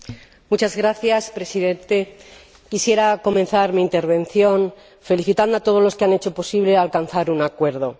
Señor Presidente, quisiera comenzar mi intervención felicitando a todos los que han hecho posible alcanzar un acuerdo.